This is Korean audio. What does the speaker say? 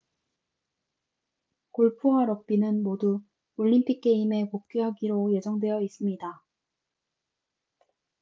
골프와 럭비는 모두 올림픽 게임에 복귀하기로 예정되어 있습니다